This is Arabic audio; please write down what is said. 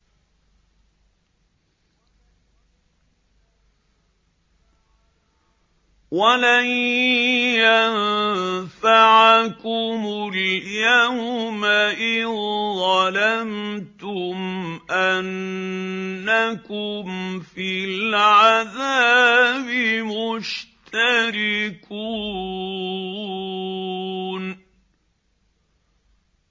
وَلَن يَنفَعَكُمُ الْيَوْمَ إِذ ظَّلَمْتُمْ أَنَّكُمْ فِي الْعَذَابِ مُشْتَرِكُونَ